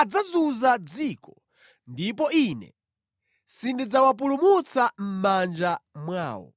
adzazunza dziko, ndipo Ine sindidzawapulumutsa mʼmanja mwawo.”